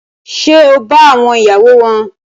Ṣe o ba àwọn ìyàwó wọn?